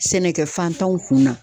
Sɛnɛkɛ fantanw kun na.